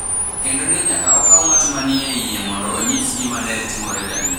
kendo ne nyaka okaw ng’at ma ni e iye mondo onyis gima ne timore gadier.